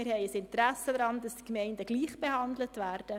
Wir haben ein Interesse daran, dass die Gemeinden gleichbehandelt werden.